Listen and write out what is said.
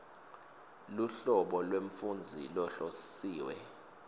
luhlobo lwemfundzi lohlosiwe